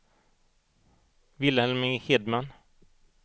Vilhelm Hedman